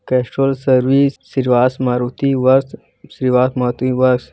Castrol service Shrivas Maruti